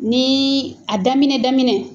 Ni a daminɛ daminɛ